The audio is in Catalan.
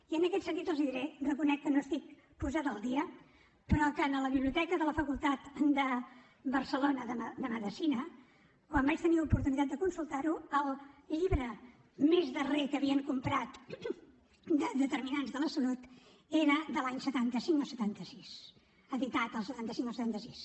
i en aquest sentit els diré reconec que no estic posada al dia però que en la biblioteca de la facultat de barcelona de medicina quan vaig tenir oportunitat de consultar ho el llibre més darrer que havien comprat de determinants de la salut era de l’any setanta cinc o setanta sis editat el setanta cinc o el setanta sis